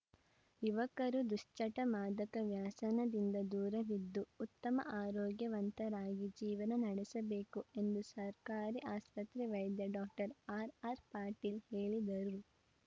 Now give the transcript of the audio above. ಯುವಕರು ದುಶ್ಚಟ ಮಾದಕ ವ್ಯಸನದಿಂದ ದೂರವಿದ್ದು ಉತ್ತಮ ಆರೋಗ್ಯವಂತರಾಗಿ ಜೀವನ ನಡೆಸಬೇಕು ಎಂದು ಸರ್ಕಾರಿ ಆಸ್ಪತ್ರೆ ವೈದ್ಯ ಡಾಕ್ಟರ್ ಆರ್‌ಆರ್‌ಪಾಟೀಲ ಹೇಳಿದರು